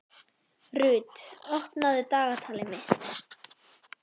Rut, opnaðu dagatalið mitt.